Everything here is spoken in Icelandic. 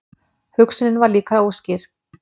Hugsunin var líka óskýr.